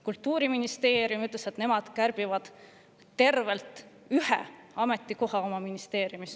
Kultuuriministeerium ütles, et nemad kärbivad oma ministeeriumis tervelt ühe ametikoha.